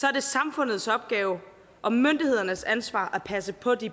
er det samfundets opgave og myndighedernes ansvar at passe på de